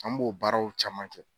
An b'o baaraw caman kɛ